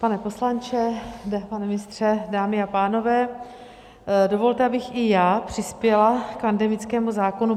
Pane poslanče, pane ministře, dámy a pánové, dovolte, abych i já přispěla k pandemickému zákonu.